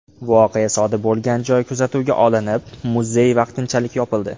Voqea sodir bo‘lgan joy kuzatuvga olinib, muzey vaqtinchalik yopildi.